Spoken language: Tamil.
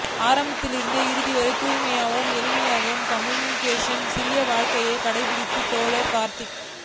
ஆரம்பத்திலிருந்து இறுதிவரை தூய்மையான எளிமையான கம்யூனிஸ்ட்டிற்குரிய சீரிய வாழ்க்கையைக் கடைப்பிடித்தவர் தோழர் கார்த்தி